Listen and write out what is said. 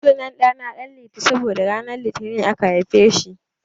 Sunan rana na Danliti saboda ranar litini aka haife ni.